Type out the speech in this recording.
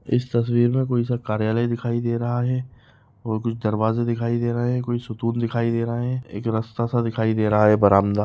इस तस्वीर मे कोई सा कार्यालय दिखाई दे रहा है और कुछ दरवाजे दिखाई दे रहै है कोई सा सतुत लिखाई दे रहा है एक रस्ता सा दिखाई दे रहा है बरामदा।